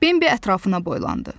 Bembi ətrafına boylandı.